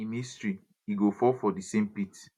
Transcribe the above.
im history e go fall for di same pit